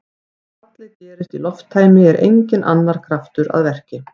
Ef fallið gerist í lofttæmi er enginn annar kraftur að verki.